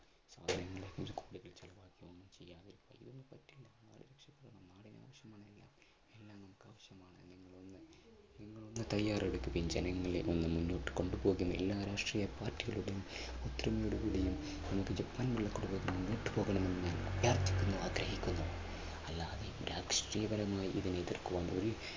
ജനങ്ങളെ മുന്നോട്ട് കൊണ്ടുപോകുന്ന എല്ലാ രാഷ്ട്രീയ party കളോടും ഒത്തൊരുമയോടുകൂടി നമുക്ക് ജപ്പാൻ കുടിവെള്ള പദ്ധതി മുന്നോട്ടുപോകണമെന്ന് ഞാൻ അഭ്യർത്ഥിക്കുന്നു, ആഗ്രഹിക്കുന്നു